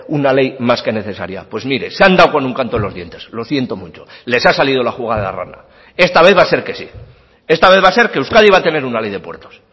una ley más que necesaria pues mire se han dado con un canto en los dientes lo siento mucho les ha salido la jugada rana esta vez va a ser que sí esta vez va a ser que euskadi va a tener una ley de puertos